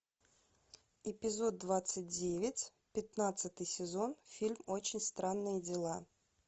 эпизод двадцать девять пятнадцатый сезон фильм очень странные дела